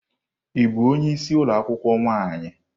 Ị bụ onye isi ụlọ akwụkwọ nwaanyị?